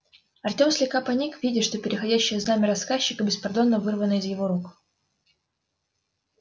артем слегка поник видя что переходящее знамя рассказчика беспардонно вырвано из его рук